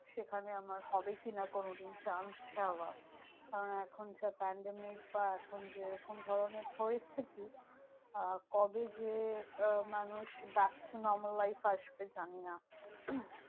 সেখানে আমার হবে কি না কোনোদিন chance যাওয়া? কারণ এখন যা pandemic বা এখন যেরকম ধরণের পরিস্থিতি, আহ কবে যে মানুষ back to normal life আসবে? জানি না।